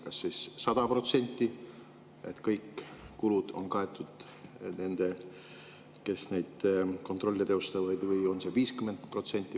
Kas 100% kõik kulud on kaetud nendel, kes kontrolle teostavad, või on see 50%?